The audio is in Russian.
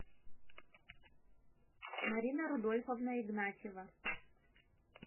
марина рудольфовна игнатьева